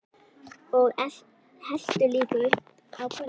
Og helltu líka upp á könnuna.